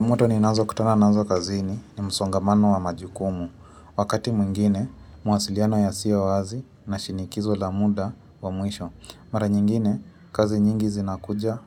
Moto ninazokutana nazo kazini ni msongamano wa majukumu. Wakati mwingine, mawasiliano yasiyo wazi na shinikizo la muda wa mwisho. Mara nyingine, kazi nyingi zinakuja